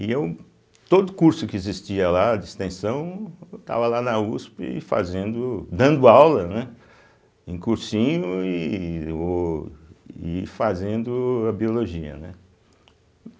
E eu, todo curso que existia lá de extensão, eu estava lá na uspe fazendo, dando aula né em cursinho e ôh e fazendo a biologia, né.